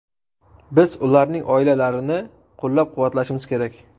Biz ularning oilalarini qo‘llab-quvvatlashimiz kerak.